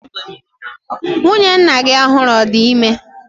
Nwunye nna gi ọhụrụ ọ̀ di ime?